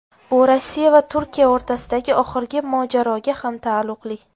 Bu Rossiya va Turkiya o‘rtasidagi oxirgi mojaroga ham taalluqli.